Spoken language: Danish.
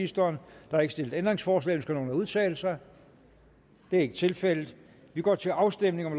der er ikke stillet ændringsforslag ønsker nogen at udtale sig det er ikke tilfældet vi går til afstemning